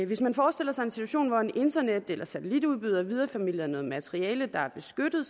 hvis man forestiller sig en situation hvor en internet eller satellitudbyder videreformidler noget materiale der er beskyttet